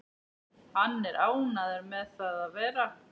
Hann er ánægður með það að vera